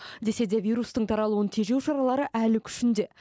десе де вирустың таралуын тежеу шаралары әлі күшінде